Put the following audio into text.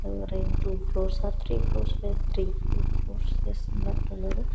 To floors or three floors ఉన్నట్టున్నది.